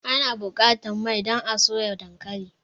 Ana buƙatar mai don a soya dankali.